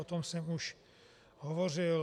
O tom jsem už hovořil.